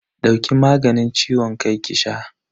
Dauki maganin ciwon kan ki sha.